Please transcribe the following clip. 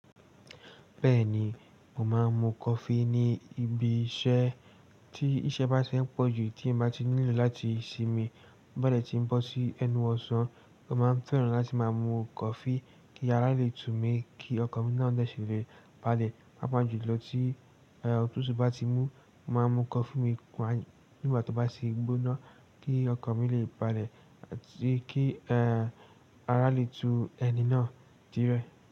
Bẹ́ẹ̀ni, mo máa ń mu coffee ní ibi iṣẹ́ tí iṣẹ́ bá ti fẹ́ pọ̀ jù tí n bá ti need láti sinmi. To ba de tí ń bọ́ sí ẹnu ọ̀sán, mo máa ń fẹ́ràn láti máa mu coffee kí ara le tú mi, kí ọkàn mi náà de si lè balẹ̀, paapa jùlọ tí otutu bá ti mú, mo máa mu coffee mi nígbà tó bá ti gbóná kí ọkàn mi lè balẹ̀, kí ara le tú ẹni náà die.